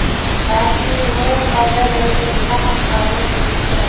balki Yevropa darajasida ham qabul qilishi kerak.